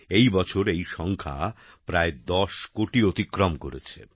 এই বছর এই সংখ্যা প্রায় ১০ কোটি অতিক্রম করেছে